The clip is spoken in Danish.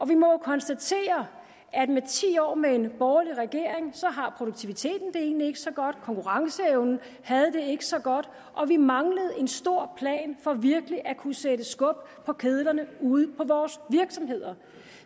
vi må jo konstatere at år med en borgerlig regering har produktiviteten det egentlig ikke så godt konkurrenceevnen havde det ikke så godt og vi manglede en stor plan for virkelig at kunne sætte skub på kedlerne ude i vores virksomheder